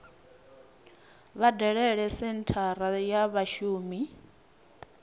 vha dalele senthara ya vhashumi